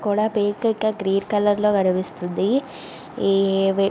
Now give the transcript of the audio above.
కూడా పింక ఇంకా green colour లో కనిపిస్తుంది. --